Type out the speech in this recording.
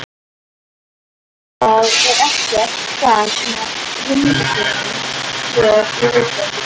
Það er ekkert gagn af hundunum hér í Reykjavík.